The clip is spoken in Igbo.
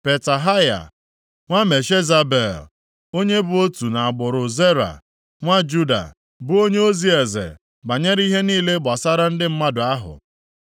Petahaya nwa Meshezabel, onye bụ otu nʼagbụrụ Zera, nwa Juda, bụ onyeozi eze banyere ihe niile gbasara ndị mmadụ ahụ.